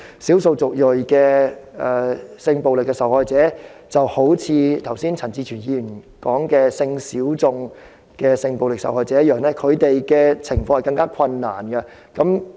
少數族裔的性暴力受害者便一如陳志全議員剛才所提及的性小眾性暴力受害者般，他們面對的情況更困難。